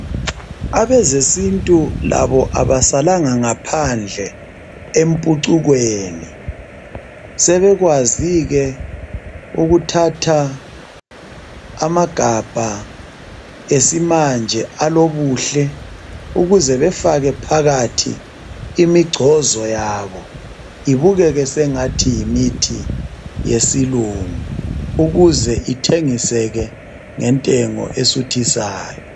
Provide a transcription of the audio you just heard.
Abezesintu labo abasalanga ngaphandle empucukweni .Sebekwazi ke ukuthatha amagabha esimanje alobuhle ukuze befake phakathi imigcozo yabo ibukeke sengathi yimithi yesilungu ukuze ithengiseke ngentengo esuthisayo.